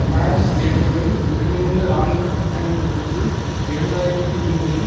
France நேட்டோவின் ஒருங்கிணைந்த இராணுவ கட்டமைப்புக்களுக்குள் இரண்டு ஆயிரத்தி ஒன்பதில்